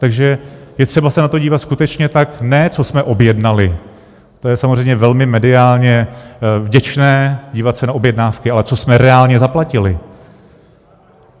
Takže je třeba se na to dívat skutečně tak, ne co jsme objednali, to je samozřejmě velmi mediálně vděčné, dívat se na objednávky, ale co jsme reálně zaplatili.